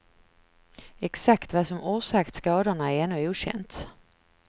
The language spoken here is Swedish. Exakt vad som orsakt skadorna är ännu okänt.